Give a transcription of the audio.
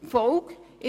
Die Folge davon: